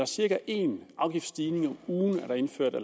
cirka en afgiftsstigning om ugen blev der indført af